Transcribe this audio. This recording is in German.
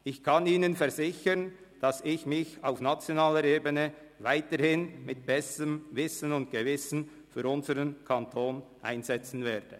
Ich kann Ihnen versichern, dass ich mich auf nationaler Ebene weiterhin mit bestem Wissen und Gewissen für unseren Kanton einsetzen werde.